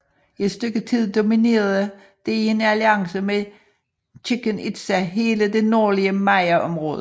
I et stykke tid dominerede det i en alliance med Chichen Itza hele det nordlige mayaområde